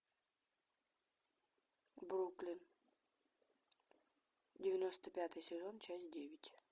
бруклин девяносто пятый сезон часть девять